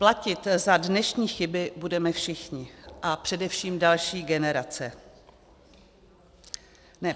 Platit za dnešní chyby budeme všichni a především další generace.